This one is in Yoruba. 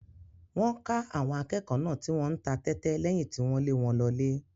Wọ́n ká àwọn akẹ́kọ̀ọ́ náà tí wọ́n ń ta tẹ́tẹ́ lẹ́yìn tí wọ́n lé wọn lọlé.